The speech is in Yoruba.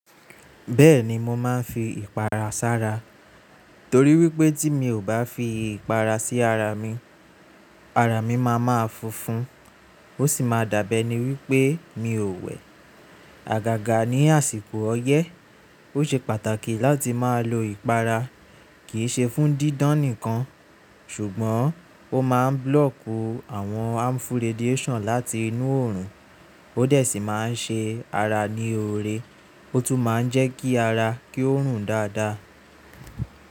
Bẹ́ẹ̀ni mo máa ń fi ìpara sára torí wípé tí mi ò bá fi ìpara sí ara mi, ara mi máa ma funfun ó sì máa dábẹ́ ẹni wípé mi ò wẹ̀. Àgàgà ní àsìkò ọyẹ́, ó ṣe pàtàkì láti máa lo ìpara kì í ṣe fún dídán nìkan ṣùgbọ́n ó máa ń blokù àwọn harmful radiation láti inú òòrùn ó dẹ̀ sì máa ń ṣe ara ní òré ó tún máa ń jẹ́ kí ara kí ó rùn dáadáa.